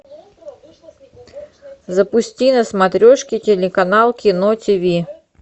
запусти на смотрешке телеканал кино тв